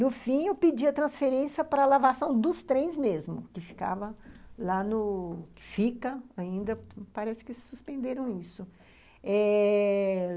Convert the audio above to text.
No fim, eu pedia transferência para a lavação dos trens mesmo, que ficava lá no... Fica, ainda parece que suspenderam isso, eh...